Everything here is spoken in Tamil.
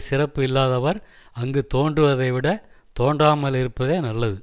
சிறப்பு இல்லாதவர் அங்குத் தோன்றுவதைவிடத் தோன்றாமலிருப்பதே நல்லது